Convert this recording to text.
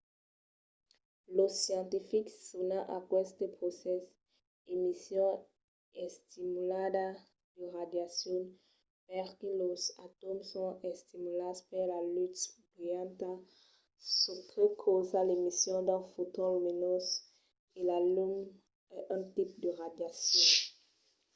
los scientifics sonan aqueste procès emission estimulada de radiacion perque los atòms son estimulats per la lutz brilhanta çò que causa l'emission d'un foton luminós e la lum es un tipe de radiacion